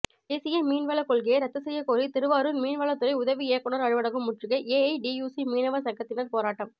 தேசிய மீன்வள கொள்கையை ரத்து செய்யக்கோரி திருவாரூர் மீன்வளத்துறை உதவி இயக்குனர் அலுவலகம் முற்றுகை ஏஐடியுசி மீனவர் சங்கத்தினர் போராட்டம்